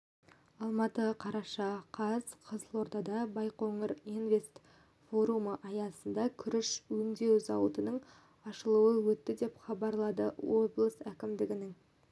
алматы қараша қаз қызылордада байқоңыр-инвест форумы аясында күріш өңдеу зауытының ашылуы өтті деп хабарлады облыс әкімдігінің